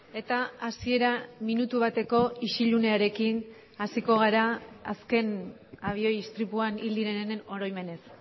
mesedez bakoitza zuen eserlekuetan eseri istripuan hil direnen oroimenez